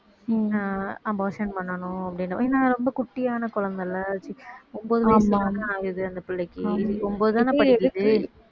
அஹ் abortion பண்ணணும் அப்படீன்னு ஏன்னா ரொம்ப குட்டியான குழந்தைல ஒன்பது வயசு தான ஆகுது அந்தப் பிள்ளைக்கு ஒன்பதுதானே படிக்குது